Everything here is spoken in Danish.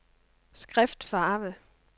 skriftfarve